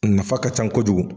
A nafa ka ca ko jugu.